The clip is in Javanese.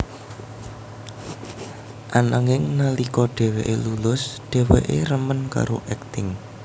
Ananging nalika dheweké lulus dheweké remen karo akting